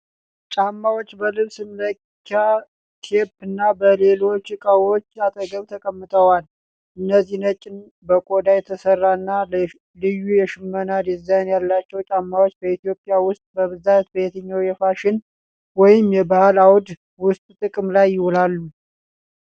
ጫማዎቹ በልብስ መለኪያ ቴፕ እና በሌሎች ዕቃዎች አጠገብ ተቀምጠዋል። እነዚህ ነጭ፣ በቆዳ የተሠሩ እና ልዩ የሽመና ዲዛይን ያላቸው ጫማዎች፣ በኢትዮጵያ ውስጥ በብዛት በየትኛው የፋሽን ወይም የባህል አውድ ውስጥ ጥቅም ላይ ይውላሉ?